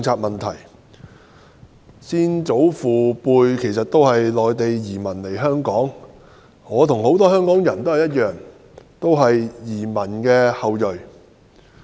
我的先祖父輩是內地來港的移民，我與很多香港人一樣，是移民的後裔。